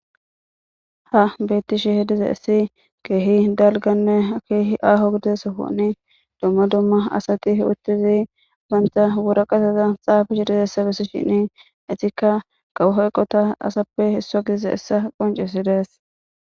Ha beetti shi hi diza essi keehi dalganne keehi aho gidiesofoni domma domma asati uttizi banta wuraqaseza xaafashi dizessabesi shini etikka gawu hoyqota asappe issa giize essa qoncesi dees.